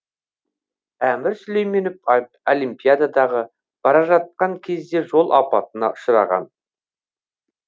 әмір сүлейменов олимпиадаға бара жатқан кезде жол апатына ұшыраған